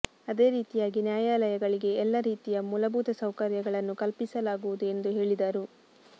ಅದೇ ರೀತಿಯಾಗಿ ನ್ಯಾಯಾಲಯಗಳಿಗೆ ಎಲ್ಲ ರೀತಿಯ ಮೂಲಭೂತ ಸೌಕರ್ಯಗಳನ್ನು ಕಲ್ಪಿಸಲಾಗುವುದು ಎಂದು ಹೇಳಿದರು